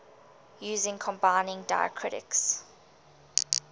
using combining diacritics